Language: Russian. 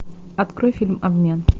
открой фильм обмен